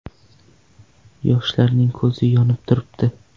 Yoshlarning ko‘zi yonib turibdi.